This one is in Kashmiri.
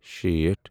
شیٹھ